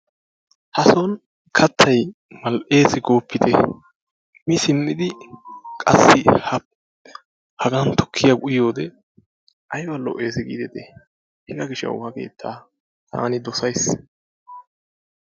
Hason kattay mal"ees gooppitee! Missimmiddi qassi hagan tukkiya uyiyode ayba lo'ees giidetti hegaa gishshawu ha keettaa taani dosays.